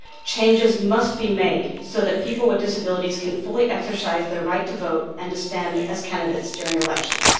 Changes must be made so that people with disabilities can fully exercise their right to vote and to stand as candidates during elections.